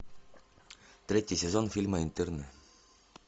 третий сезон фильма интерны